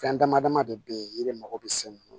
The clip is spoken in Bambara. Fɛn dama dama de be yen yiri mago be se munnu